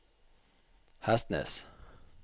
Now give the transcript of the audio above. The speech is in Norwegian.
Hestnes